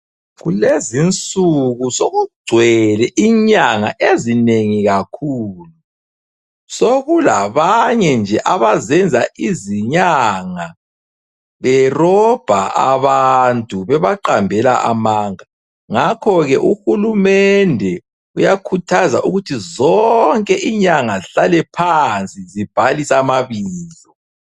Kulezinsuku sokugcwele inyanga ezinengi kakhulu. Sokulabanye nje abazenza izinyanga berobha abantu bebaqambela amanga ngakho-ke uhulumende uyakhuthaza ukuthi zonke inyanga zihlale phansi zibhalise amabizo.